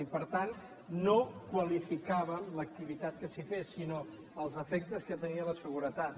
i per tant no qualificàvem l’activitat que s’hi fes sinó els efectes que tenia en la seguretat